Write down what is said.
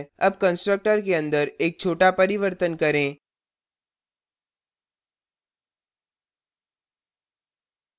अब constructor के अंदर एक छोटा परिवर्तन करें